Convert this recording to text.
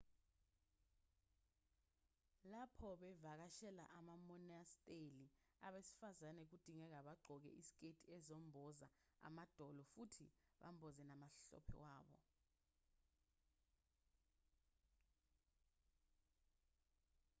lapho bevakashela amamonasteli abesifazane kudingeka bagqoke iziketi ezemboza amadolo futhi bamboze namahlombe wabo